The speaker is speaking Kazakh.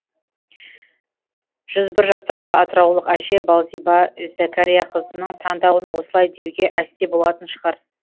жүз бір жастағы атыраулық әже балзиба зәкәрияқызының таңдауын осылай деуге әсте болатын шығар